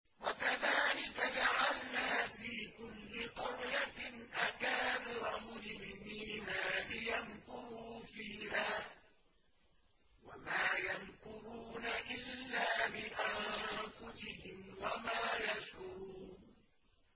وَكَذَٰلِكَ جَعَلْنَا فِي كُلِّ قَرْيَةٍ أَكَابِرَ مُجْرِمِيهَا لِيَمْكُرُوا فِيهَا ۖ وَمَا يَمْكُرُونَ إِلَّا بِأَنفُسِهِمْ وَمَا يَشْعُرُونَ